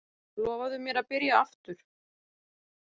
Lofaðu mér að byrja aftur!